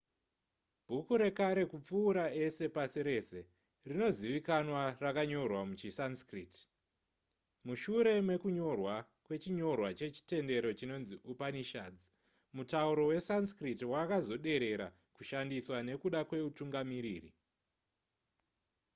bhuku rekare kupfuura ese pasi rese rinozivikanwa rakanyorwa muchisanskrit mushure mekunyorwa kwechinyorwa chechitendero chinonzi upanishads mutauro wesanskrit wakazoderera kushandiswa nekuda kweutungamiriri